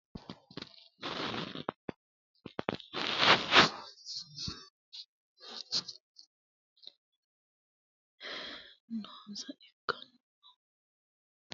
Hakkunni gedensaanni katamma barru Dagoomu Laooshshe hoshsho afi rate umonsa vayresete sayse Dagoomu laooshshe yaa mannu gobbankera aatenna wolehono vayrese tareessate buusa Eedisi dhibbi aana noonsa ikkanno.